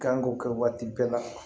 Kan k'o kɛ waati bɛɛ la